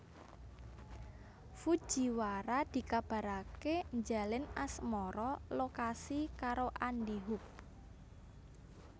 Fujiwara dikabaraké njalin asmara lokasi karo Andy Hug